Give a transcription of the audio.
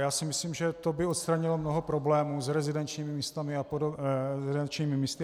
Já si myslím, že to by odstranilo mnoho problémů s rezidenčními místy a podobně.